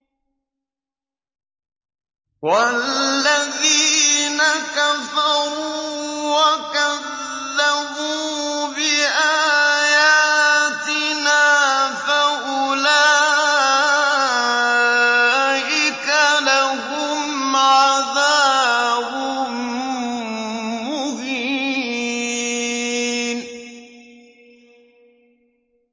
وَالَّذِينَ كَفَرُوا وَكَذَّبُوا بِآيَاتِنَا فَأُولَٰئِكَ لَهُمْ عَذَابٌ مُّهِينٌ